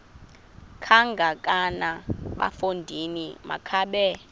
kangakanana bafondini makabe